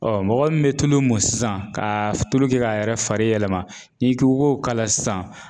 mɔgɔ min bɛ tulu mun sisan ka tulu kɛ k'a yɛrɛ fari yɛlɛma n'i k'i k'o kala sisan.